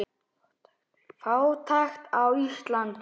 Fátækt á Íslandi